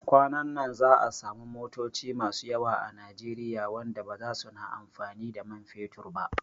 Kwanan nan za'a samu motoci masu yawa a Nijeriya wanda baza suna amfani da man fetur ba